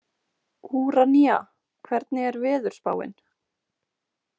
Úranía, hvernig er veðurspáin?